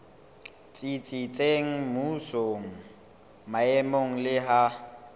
tsitsitseng mmusong maemong le ha